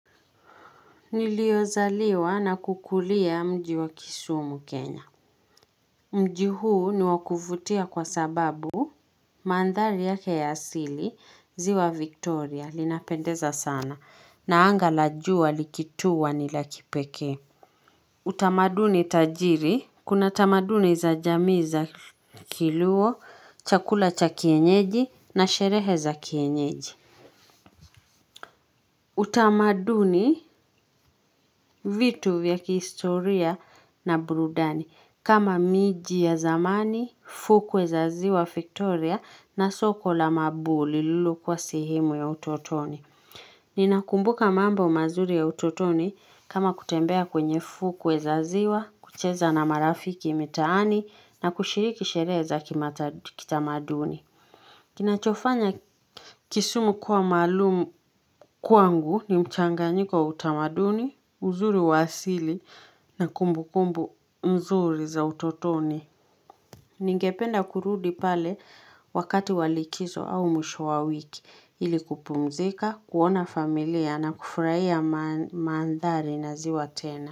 Niliozaliwa na kukulia mji wa kisumu kenya mji huu ni wa kuvutia kwa sababu Mandhari yake ya asili ziwa victoria linapendeza sana na anga la juwa likituwa ni la kipekee utamaduni tajiri Kuna tamaduni za jamii za kiluo chakula cha kienyeji na sherehe za kienyeji utamaduni, vitu vya kihistoria na burudani kama miji ya zamani, fukwe za ziwa Victoria na soko la mabuli lililokuwa sehemu ya utotoni Ninakumbuka mambo mazuri ya utotoni kama kutembea kwenye fukwe za ziwa kucheza na marafiki mitaani na kushiriki sherehe za kitamaduni Kinachofanya kisumu kuwa maalumu kwangu ni mchanganyiko wa utamaduni, uzuri wa asili na kumbukumbu nzuri za utotoni. Ningependa kurudi pale wakati wa likizo au mwisho wa wiki ili kupumzika, kuona familia na kufurahia mandhari na ziwa tena.